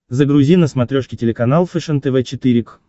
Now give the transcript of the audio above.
загрузи на смотрешке телеканал фэшен тв четыре к